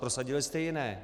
Prosadili jste jiné.